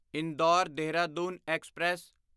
Indore Dehradun express